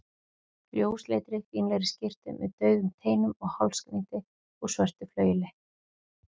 ljósleitri, fínlegri skyrtu með daufum teinum og hálsknýti úr svörtu flaueli.